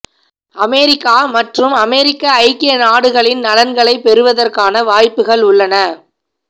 America மற்றும் அமெரிக்க ஐக்கிய நாடுகளின் நலன்களைப் பெறுவதற்கான வாய்ப்புகள் உள்ளன